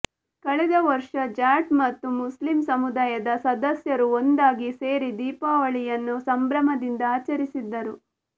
ಕಳೆದ ವರ್ಷ ಜಾಟ್ ಮತ್ತು ಮುಸ್ಲಿಂ ಸಮುದಾಯದ ಸದಸ್ಯರು ಒಂದಾಗಿ ಸೇರಿ ದೀಪಾವಳಿಯನ್ನು ಸಂಭ್ರಮದಿಂದ ಆಚರಿಸಿದ್ದರು